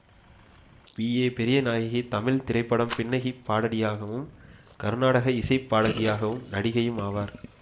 B A Periyanayaki Tamil திரைப்பட பின்னணி பாடகியும் கருநாடக இசை பாடகியும் நடிகையும் ஆவார்